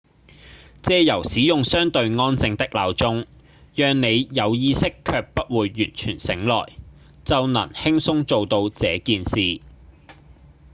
藉由使用相對安靜的鬧鐘讓你有意識卻不會完全醒來就能輕鬆做到這件事